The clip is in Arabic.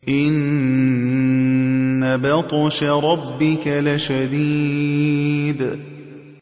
إِنَّ بَطْشَ رَبِّكَ لَشَدِيدٌ